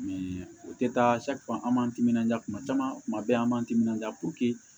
o tɛ taa an b'an timinanja kuma caman kuma bɛɛ an b'an timinanja